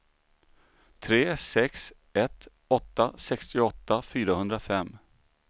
tre sex ett åtta sextioåtta fyrahundrafem